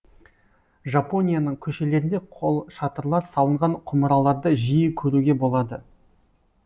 жапонияның көшелерінде қолшатырлар салынған құмыраларды жиі көруге болады